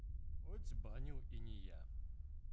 хоть и банил и не я